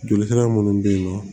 Joli sira munnu be yen nɔ